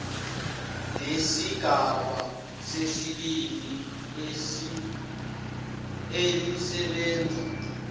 lesigaba sesibili elisebenza